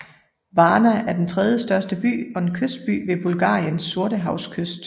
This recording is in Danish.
Varna er den tredjestørste by og en kystby ved Bulgariens sortehavskyst